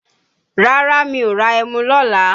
Rárá mi ò ra ẹmu lọ́la.